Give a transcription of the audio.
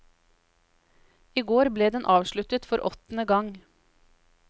I går ble den avsluttet for åttende gang.